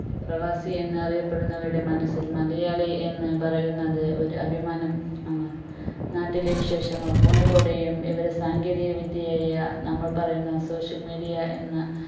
പ്രവാസി എന്ന് അറിയപെടുന്നവരുടെ മനസ്സിൽ മലയാളി എന്ന് പറയുന്നത് ഒരു അഭിമാനം ആണ് നാട്ടിലെ വിശേഷങ്ങൾ phone ലൂടയും വിവരസാങ്കേതിക വിദ്യയായ നമ്മൾ പറയുന്ന social media എന്ന